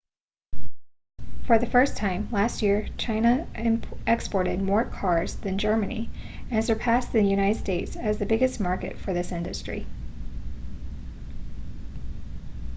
for the first time last year china exported more cars than germany and surpassed the united states as the biggest market for this industry